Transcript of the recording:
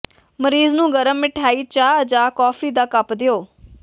ਮਰੀਜ਼ ਨੂੰ ਗਰਮ ਮਠਿਆਈ ਚਾਹ ਜਾਂ ਕੌਫੀ ਦਾ ਕੱਪ ਦਿਓ